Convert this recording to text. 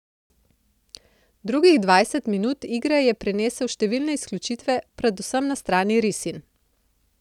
Drugih dvajset minut igre je prinesel številne izključitve, predvsem na strani risinj.